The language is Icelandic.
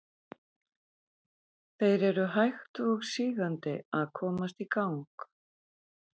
Þeir eru hægt og sígandi að komast í gang.